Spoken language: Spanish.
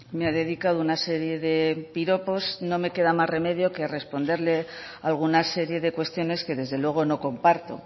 me ha dedicado una serie de piropos no me queda más remedio que responderle a alguna serie de cuestiones que desde luego no comparto